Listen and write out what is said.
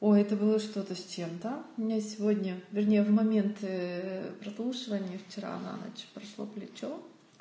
о это было что-то с чем-то у меня сегодня вернее в моменты прослушивания вчера на ночь прошло плечо